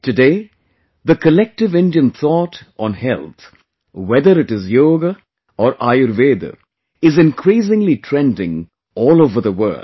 Today, the collective Indian thought on health, whether it is Yoga or Ayurveda, is increasingly trending all over the world